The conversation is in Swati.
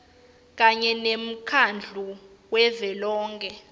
kanye nemkhandlu wavelonkhe